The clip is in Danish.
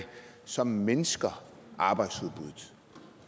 som mindsker arbejdsudbuddet